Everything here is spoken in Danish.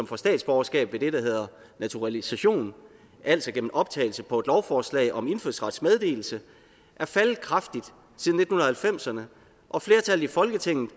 får statsborgerskab ved det der hedder naturalisation altså gennem optagelse på et lovforslag om indfødsrets meddelelse er faldet kraftigt siden nitten halvfemserne og flertallet i folketinget